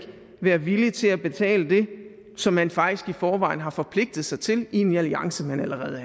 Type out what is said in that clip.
være villig til at betale det som man faktisk i forvejen har forpligtet sig til i en alliance man allerede